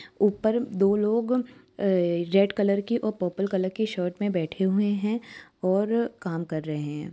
ऊपर दो लोग रेड कलर की और पर्पल कलर की शर्ट में बैठे हुये है और काम कर रहे हैं ।